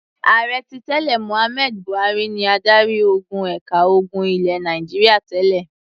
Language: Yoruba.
Ààrẹ tí tẹ́lẹ̀ Mohammed Buhari ni adarí-ogun ẹ̀ka ogun ilẹ̀ Nàìjíríà tẹ́lẹ̀.